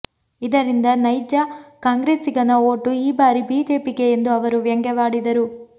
ಇದರಿಂದ ನೈಜ ಕಾಂಗ್ರೆಸಿಗನ ಓಟು ಈ ಬಾರಿ ಬಿಜೆಪಿಗೆ ಎಂದು ಅವರು ವ್ಯಂಗ್ಯವಾಡಿದರು